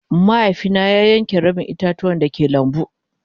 Mahaifi na ya yanke rabin ita-tuwan da ke lambu.